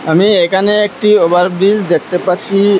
আমি এখানে একটি ওভারব্রিজ দেখতে পাচ্ছি।